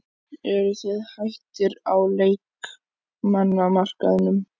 Eruð þið hættir á leikmannamarkaðnum?